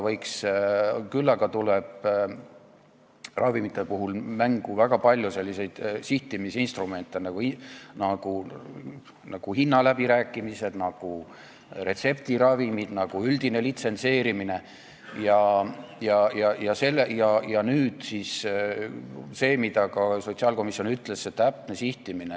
Küll aga tuleb ravimite puhul mängu väga palju selliseid sihtimisinstrumente nagu hinnaläbirääkimised, nagu retseptiravimitega seotu, nagu üldine litsentseerimine ja mida ka sotsiaalkomisjon ütles: ikkagi täpne sihtimine.